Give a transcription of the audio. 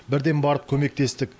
бірден барып көмектестік